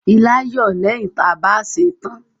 Ilá ń yọ̀ lẹ́yìn ta bá sèe tán.